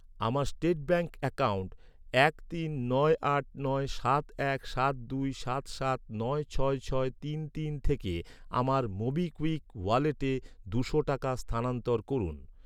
আমার state bank account এক তিন নয় আট নয় সাত এক সাত দুই সাত সাত নয় ছয় ছয় তিন তিন থেকে আমার মোবিকুইক ওয়ালেটে দুশো টাকা স্থানান্তর করুন।